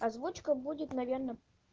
озвучка будет наверное